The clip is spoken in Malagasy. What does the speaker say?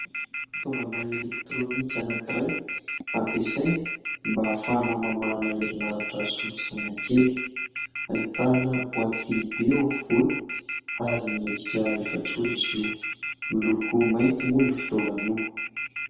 Fitaovana elektrônika anankiray ampiasaina mba hahafahana mamahana herinaratra solosaina kely. Ahitana boaty lehibe eo afovoany, ary miendrika efajoro izy io. Miloko mainty moa io fitaovana io.